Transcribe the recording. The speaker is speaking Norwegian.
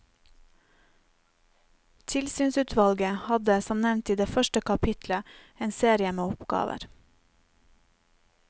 Tilsynsutvalget hadde, som nevnt i det første kapittelet, en serie med oppgaver.